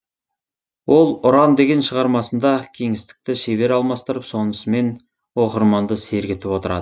ол ұран деген шығармасында кеңістікті шебер алмастырып сонысымен оқырманды сергітіп отырады